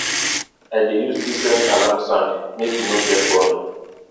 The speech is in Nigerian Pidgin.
i dey use different alarm sound make e no get boring